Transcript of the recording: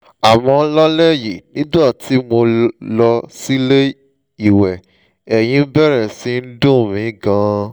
àmọ́ lálẹ́ yìí nígbà tí mo lọ sílé ìwẹ̀ ẹ̀yìn bẹ̀rẹ̀ sí í dùn mí gan-an